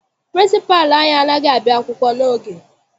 Pịrịnsịpalụ anyị anaghị abịa akwụkwọ n'oge.